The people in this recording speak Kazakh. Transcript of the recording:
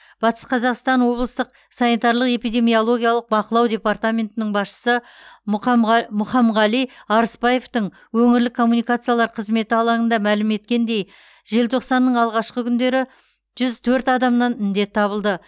батыс қазақстан облыстық санитарлық эпидемиологиялық бақылау департаментінің басшысы мұқамға мұхамғали арыспаевтың өңірлік коммуникациялар қызметі алаңында мәлім еткеніндей желтоқсанның алғашқы күндері жүз төрт адамнан індет табылды